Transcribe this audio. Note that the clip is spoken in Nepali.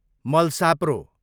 मलसाप्रो